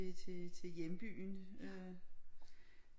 Til hjembyen øh